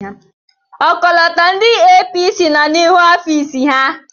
Ọkọlọtọ ndị APC nọ n'iru ọfiisi ha.